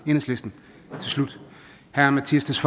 slut herre mattias